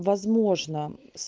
возможно